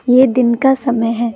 ये दिन का समय है।